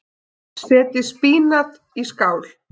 Setjið spínat í skál.